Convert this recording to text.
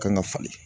Kan ka falen